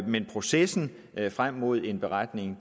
men processen frem mod en beretning